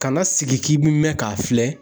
Kana sigi k'i bi mɛn k'a filɛ.